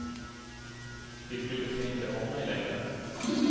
De brydde sig inte om mig längre.